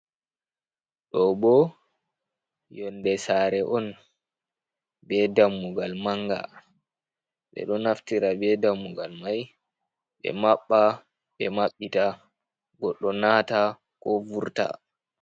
Ɗo bo yonɗe sare on be dammugal manga ɓe ɗo naftira be dammugal mai ɓe mabba ɓe mabbita goddo nata ko vurta.